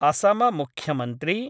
असम मुख्यमन्त्री